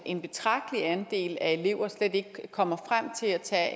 en betragtelig andel af elever slet ikke kommer frem til at tage